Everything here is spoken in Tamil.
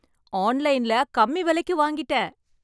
ஆன்லைன்ல கம்மி விலைக்கு வாங்கிட்டேன்